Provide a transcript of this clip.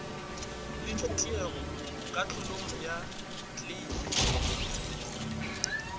le ditiego kahlolong ya kleime